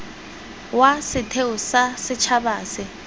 wa setheo sa setšhaba se